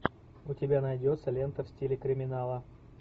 у тебя найдется лента в стиле криминала